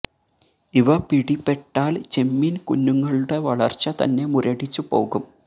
ഇവ പിടി പെട്ടാൽ ചെമ്മീൻ കുഞ്ഞുങ്ങളുടെ വളർച്ച തന്നെ മുരടിച്ചു പോകും